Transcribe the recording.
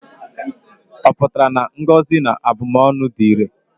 Ọ pụtara na ngọzi na abụmọnụ dị irè?